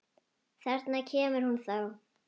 Þarna kemur hún þá!